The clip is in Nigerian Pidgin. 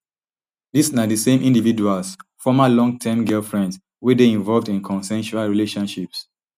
dis na di same individuals former longterm girlfriends wey dey involved in consensual relationships